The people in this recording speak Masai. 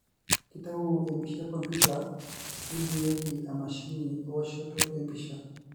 kitayu empisha ekomputer nibungieki emashini eoshoto empisha.